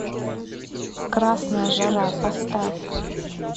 красная жара поставь